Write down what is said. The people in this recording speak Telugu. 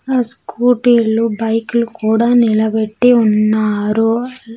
ఆ స్కూటీలు బైక్లు కూడా నిలబెట్టి ఉన్నారు.